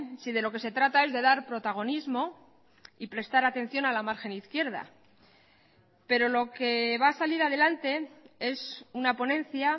si de lo que se trata es de dar protagonismo y prestar atención a la margen izquierda pero lo que va a salir adelante es una ponencia